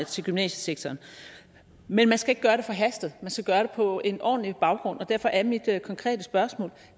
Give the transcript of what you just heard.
til gymnasiesektoren men man skal ikke gøre det forhastet man skal gøre det på en ordentlig baggrund og derfor er mit konkrete spørgsmål